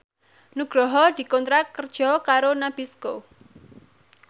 Nugroho dikontrak kerja karo Nabisco